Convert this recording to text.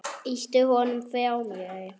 Ýti honum frá mér.